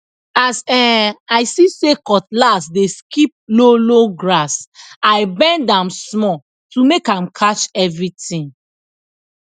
as um i see say cutlass dey skip lowlow grass i bend am small to make am catch everything